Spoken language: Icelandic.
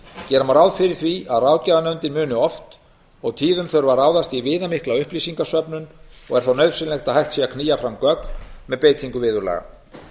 gera má ráð fyrir því að ráðgjafarnefndin muni oft og tíðum þurfa að ráðast í viðamikla upplýsingasöfnun og er þá nauðsynlegt að hægt sé að knýja fram gögn með beitingu viðurlaga